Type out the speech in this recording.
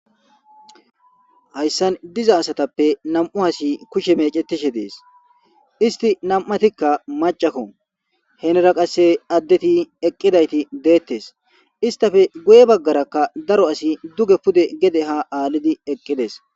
hayssan diza asatappe nam'u hasi kushe mecetishe dees isti nam'atikka macakko henera qasse addeti eqqidayti deettes istafe guye baggarakka daro asi duge pude gede ha aallidi eqqides.